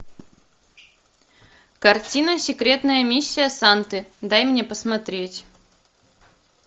картина секретная миссия санты дай мне посмотреть